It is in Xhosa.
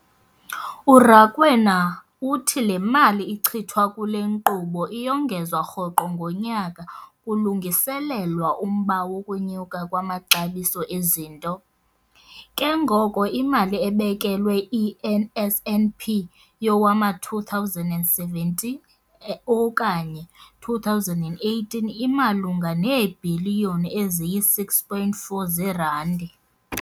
URakwena uthi le mali ichithwa kule nkqubo iyongezwa rhoqo ngonyaka kulungiselelwa umba wokunyuka kwamaxabiso ezinto, ke ngoko imali ebekelwe i-NSNP yowama-2017 okanye 2018 imalunga neebhiliyoni eziyi-6.4 zeerandi.